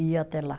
Ia até lá.